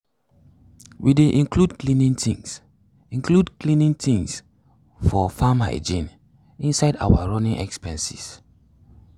we dey include cleaning things include cleaning things for farm hygiene inside our running expenses.